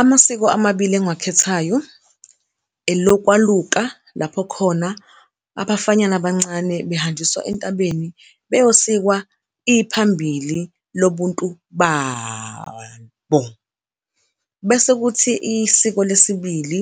Amasiko amabili engiwakhethayo elokwaluka lapho okhona abafanyana abancane behanjiswa entabeni beyosikwa iphambili lobuntu babo, bese kuthi isiko lesibili